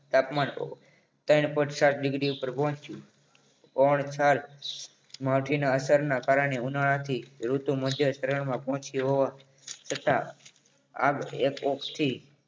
તાપમાન ત્રણ point સાત degree ઉપર પહોંચ્યું કોણ છાલ માઠી ના અસરના કારણે ઉનાળાથી ઋતુ મુજબ ત્રણમાં પહોંચ્યું હોવાથી તથા આ epoxy